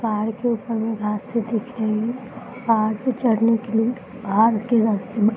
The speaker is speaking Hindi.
पहाड़ के ऊपर में घास सी दिख रही है। पहाड़ पे चढ़ने के लिए के रस्ते --